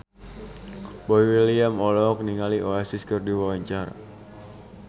Boy William olohok ningali Oasis keur diwawancara